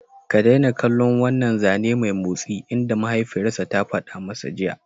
Ka daina kallon wannan zane mai motsi!" inda mahaifiyarsa ta fada masa jiya!